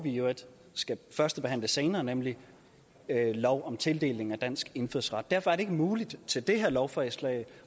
i øvrigt skal førstebehandle senere nemlig lov om tildeling af dansk indfødsret derfor er det ikke muligt til det her lovforslag